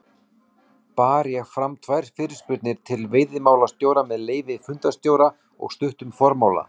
bar ég fram tvær fyrirspurnir til veiðimálastjóra með leyfi fundarstjóra og stuttum formála